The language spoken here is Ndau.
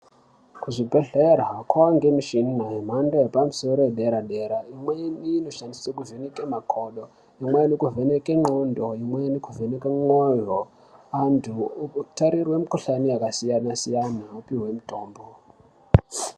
Kuzvibhehlera kwane michini yamhando yepamusoro yedera dera imweni inoshandiswa kuvheneka makodo imweni kuvheneke ndxondo imweni kuvhene mwoyo anhu kutarirwa mikuhlani yakasiyana siyana opihwa mitombo.